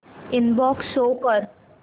inbox show कर